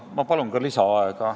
Ma palun ka lisaaega!